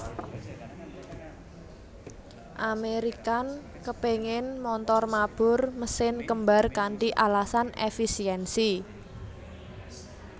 American kepéngin montor mabur mesin kembar kanthi alasan èfisiènsi